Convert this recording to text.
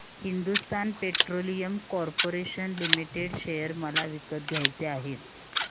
Hindustan petroleum corporation limited share मला विकत घ्यायचे आहेत